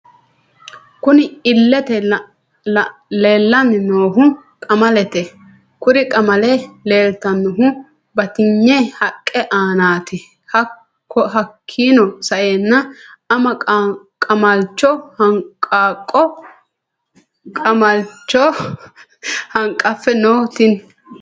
Kunni illete leelani noohu qamalete kurri qamale leelitanohu batiyne haqqe aanati hakiino sa'eena ama qamalicho Qaaqqø qamalicho hanqafe no Tini.....